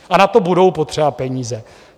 A na to budou potřeba peníze.